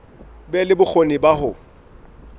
be le bokgoni ba ho